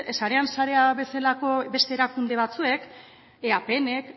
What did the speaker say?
sarean sarea bezalako beste erakunde batzuek eapnk